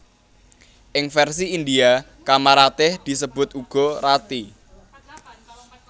Ing versi Indhia Kamaratih disebut uga Rati